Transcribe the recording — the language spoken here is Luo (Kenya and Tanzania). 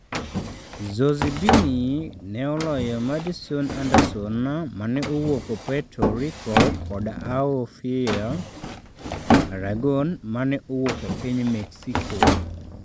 Zozibini ne oloyo Madison Anderson mane owuok Puerto Rico kod Aofia Aragon mane owuok e piny Mexico.